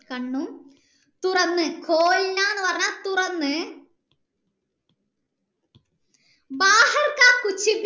കണ്ണും തുറന്ന് എന്നു പറഞ്ഞാൽ തുറന്ന്